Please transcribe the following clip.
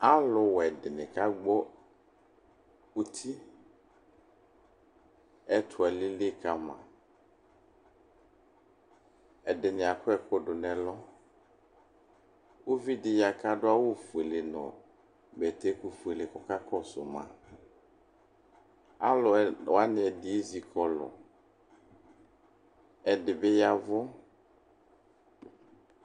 Alʋwɛ dini kagbɔ uti ɛtʋ alili kama ɛdini akɔ ɛkʋ dʋnʋ ɛlʋ uvidi ya kʋ adʋ awufuele nʋ bɛtɛkʋ fuele kɔka kɔsʋ la alʋ wani ɛdi ezikɔlʋ ɛdibi ya ɛvʋ